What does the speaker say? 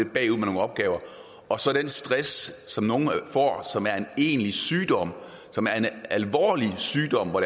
bagud med nogle opgaver og så den stress som nogle får og som er en egentlig sygdom en alvorlig sygdom hvor